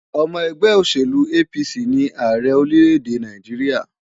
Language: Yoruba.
Ọmọ ẹgbẹ́ òṣèlú APC ni Ààrẹ orílẹ̀-èdè Nàìjíríà.